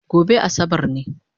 Gobe Asabar ne